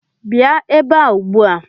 Bịa ebe a ugbu a!